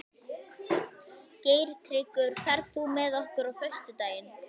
Geirtryggur, ferð þú með okkur á föstudaginn?